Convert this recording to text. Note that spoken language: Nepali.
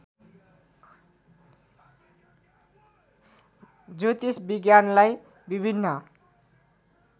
ज्योतिष विज्ञानलाई विभिन्न